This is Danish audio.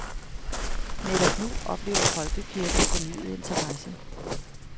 Netop nu oplever folkekirken fornyet interesse.